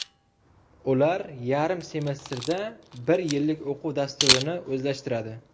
Ular yarim semestrda bir yillik o‘quv dasturini o‘zlashtiradi.